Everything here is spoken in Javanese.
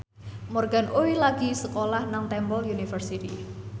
Morgan Oey lagi sekolah nang Temple University